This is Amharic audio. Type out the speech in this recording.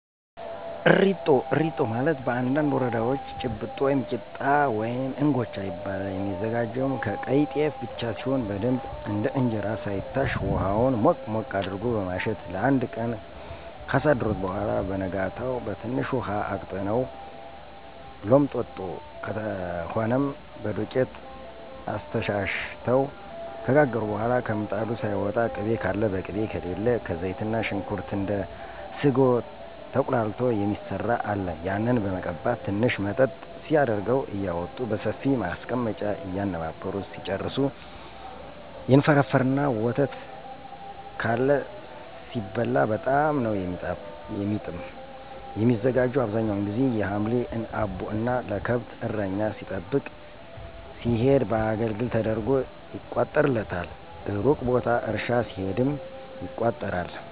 እሪጦ፦ እሪጦ ማለት በአንዳንድ ወረዳወች ጭብጦ ወይም ቂጣ ወይም እንጎቻ ይባላል። የሚዘጋጀውም ከቀይ ጤፍ ብቻ ሲሆን በደንብ እንደ እንጀራ ሳይታሽ ሁሀውን ሞቅ ሞቅ አድርጎ በማሸት ለአንድ ቀን ካሳደሩት በኋላ በነጋታው በትንሽ ውሀ አቅጥነው ሎምጥጦ ከሆነም በዶቄት አስተሻሽተው ከጋገሩ በኋላ ከምጣዱ ሳያወጡ ቅቤ ካለ በቅቤ ከሌለ ከዘይትና ሽንኩርት እንደ ስጎ ተቁላልቶ የሚሰራ አለ ያንን በመቀባት ትንሽ መጠጥ ሲያደርገው እያወጡ በሰፊ ማስቀመጫ እየነባበሩ ሲጨርሱ ይንፈረፈርና በወተት (ካለ) ሲበላ በጣም ነው የሚጥም። የሚዘጋጀው አብዛኛውን ጊዚ የሀምሌ አቦ እና ለከብት እረኛ ሊጠብቅ ሲሄድ በአገልግል ተደርጎ ይቋጠርለታል። እሩቅ ቦታ እርሻ ሲሄድም ይቋጠራል።